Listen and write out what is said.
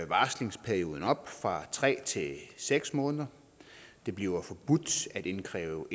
varslingsperioden op fra tre til seks måneder det bliver forbudt at indkræve